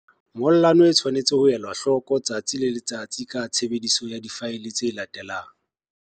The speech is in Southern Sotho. Ngollano e tshwanetse ho elwa hloko letsatsi le letsatsi ka tshebediso ya difaele tse latelang.